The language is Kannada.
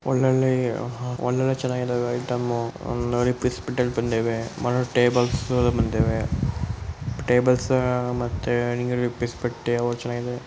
ಒಳ್ಳೊಳ್ಳೆ ಅಹ್ ಒಳ್ಳೊಳ್ಳೆ ಚನಾಗಿದವೆ ಐಟಮ್ಮು ಪೀಸ್ ಬಟ್ಟೆಗಳ್ ಬಂದೆವೆ ಮರದ್ ಟೇಬಲ್ಸ್ ಬಂದೆವೆ ಟೇಬಲ್ಸ್ ಅಹ್ ಮತ್ತೆ ಬಟ್ಟೆ ಅವು ಚನಾಗಿದವೆ.